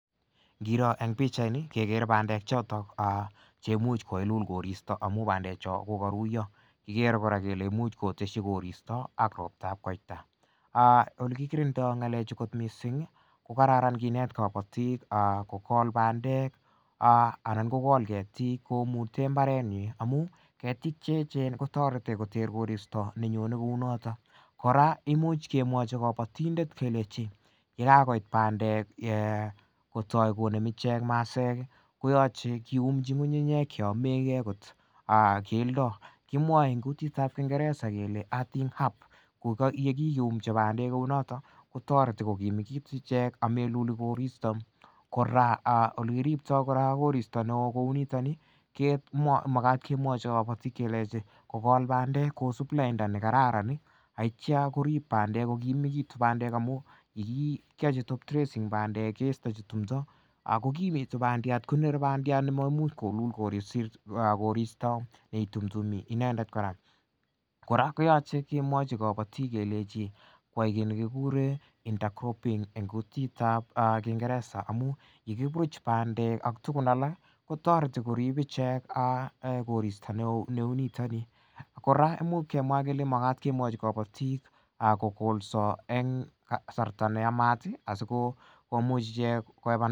Ngiro eng' pikchaini kekere bandek choto che imuuch kailul koristo amu bandecho kokaruiyo kikere kora kele muuch koteshi koristo ak roptab koita olekikirindoi galechu kot mising' ko kararan kineti kobotik kokol bandek anan kokol ketik komute mbarenyi amu ketik cheechen kotoreti koter koristo nenyonei kou noto kora imuuch kemwachi kobotindet kelech yekakoit bandek kotoi konem ichek maseek koyoche kiumi ng'ung'uyek cheyomegei kot keldo kimwoei eng' kutitab kingeresa kele arting harp ko yekakiyumchi bandek kou noto kotoreti kokimit ichek ameluli koristo kora ole kiriptoi kora koristo ne oo kou nitoni ko makat kemwochi kobotik kelechi kokol bandek kosup lainda nekararan aityo korib bandek kokimekitu bandek amu yekiyochi top dressing bandek keistochi tumdo kokimit bandiat konerei bandiat ne maimuuch kilul koristo yeitumtumi inendet kora kora koyoche kimwochi korib kelechi kwai kii nekikure inter cropping ing' kutitab kingeresa amu yekiburuch bandek ak tugun alak kotoreti korip ichek koristo ne oo neu nito kora muuch kemwa kele makat kemwochi kabotik kokolso eng' kasarta neyamat asikomiuch ichek kohepan